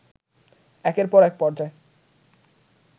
একের পর এক পর্যায়